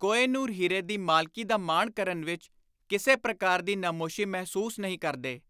ਕੋਹ-ਏ-ਨੂਰ ਹੀਰੇ ਦੀ ਮਾਲਕੀ ਦਾ ਮਾਣ ਕਰਨ ਵਿਚ ਕਿਸੇ ਪ੍ਰਕਾਰ ਦੀ ਨਮੋਸ਼ੀ ਮਹਿਸੂਸ ਨਹੀਂ ਕਰਦੇ।